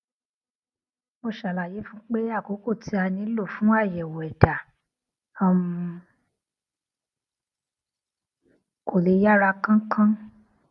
mo ṣàlàyé fún un pé àkókò tí a nílò fún àyèwò ẹdá um kò lè yára kánkán